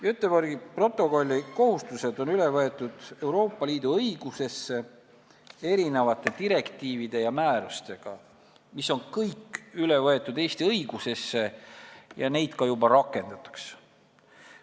Göteborgi protokolli kohustused on Euroopa Liidu õigusesse üle võetud erinevate direktiivide ja määrustega, mis kõik on üle võetud Eesti õigusesse ja mida ka juba rakendatakse.